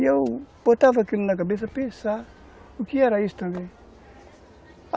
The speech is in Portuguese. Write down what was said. E eu botava aquilo na cabeça para pensar o que era isso também.